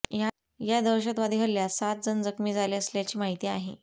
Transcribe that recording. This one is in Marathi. या दहशतवादी हल्ल्यात सात जण जखमी झाले असल्याची माहिती आहे